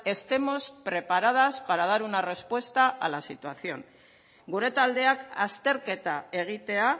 estemos preparadas para dar una respuesta a la situación gure taldeak azterketa egitea